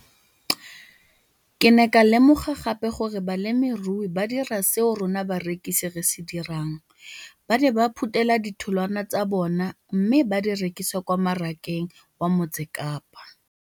Ke ne ka lemoga gape gore balemirui ba dira seo rona barekisi re se dirang - ba ne ba phuthela ditholwana tsa bona mme ba di rekisa kwa marakeng wa Motsekapa.